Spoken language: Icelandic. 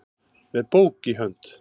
með bók í hönd